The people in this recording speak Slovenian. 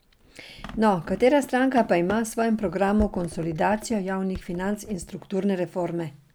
No, katera stranka pa ima v svojem programu konsolidacijo javnih financ in strukturne reforme?